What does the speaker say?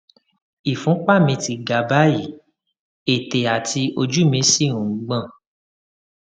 ìfúnpá mi ti ga báyìí ètè àti ojú mí sì ń gbọn